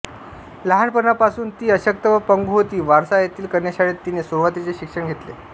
लहानपणापासून ती अशक्त व पंगू होती वॉर्सा येथील कन्याशाळेत तिने सुरुवातीचे शिक्षण घेतले